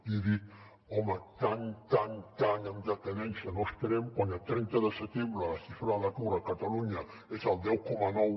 li he dit home tant tant en decadència no estarem quan a trenta de setembre la xifra de l’atur a catalunya és el deu coma nou